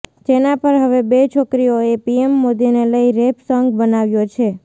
જેના પર હવે બે છોકરીઓએ પીએમ મોદીને લઈન રેપ સોન્ગ બનાવ્યો છે